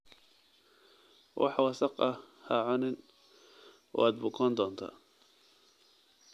Wax wasakh ah ha cunin, waad bukoon doontaa.